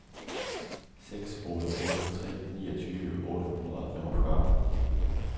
seks otte otte tre niogtyve otte hundrede og femogfyrre